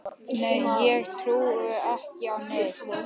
Nei ég trúði ekki á neitt.